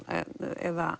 eða